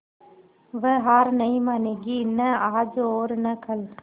वह हार नहीं मानेगी न आज और न कल